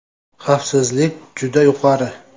Xavfsizlik juda yuqori.